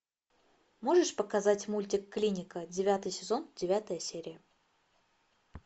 можешь показать мультик клиника девятый сезон девятая серия